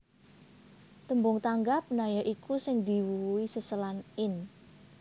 Tembung tanggap na ya iku sing diwuwuhi seselan in